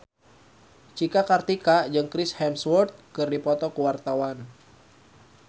Cika Kartika jeung Chris Hemsworth keur dipoto ku wartawan